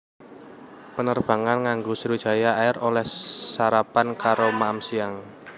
Penerbangan nganggo Sriwijaya Air oleh sarapan karo maem siang